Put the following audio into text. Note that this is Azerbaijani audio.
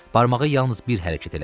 Barmağı yalnız bir hərəkət elədi.